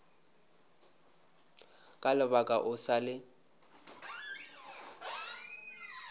ka lebala o sa le